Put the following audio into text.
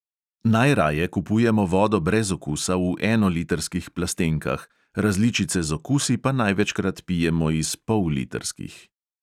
Najraje kupujemo vodo brez okusa v enolitrskih plastenkah, različice z okusi pa največkrat pijemo iz pollitrskih.